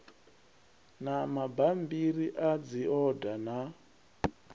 na mabammbiri a dzihoda na